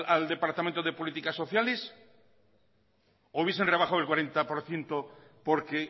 al departamento de políticas sociales o hubiesen rebajado el cuarenta por ciento porque